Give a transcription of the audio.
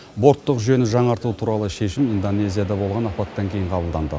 борттық жүйені жаңарту туралы шешім индонезияда болған апаттан кейін қабылданды